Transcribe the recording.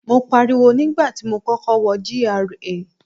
Mo pariwo nígbà tí mo kọ́kọ́ wọ GRA.